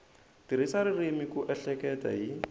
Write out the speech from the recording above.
tirhisa ririmi ku ehleketa hi